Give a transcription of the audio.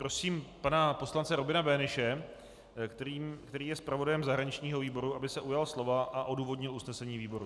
Prosím pana poslance Robina Böhnische, který je zpravodajem zahraničního výboru, aby se ujal slova a odůvodnil usnesení výboru.